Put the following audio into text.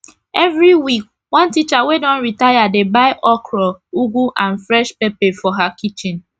everi week one teacher wey don retire dey buy okro ugu and fresh pepper for her kitchen